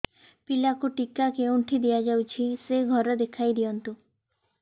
ପିଲାକୁ ଟିକା କେଉଁଠି ଦିଆଯାଉଛି ସେ ଘର ଦେଖାଇ ଦିଅନ୍ତୁ